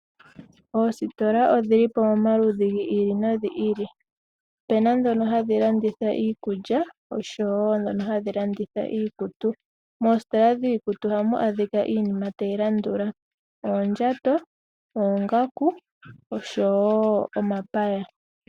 Oositola odhili pamaludhi gi ili nogi ili, opena dhono hadhi landitha iikulya osho wo dhono hadhi landitha iikutu ,mositola yiikutu ohamu adhika iinima tayi landula oondjato, oongaku osho wo omapaya.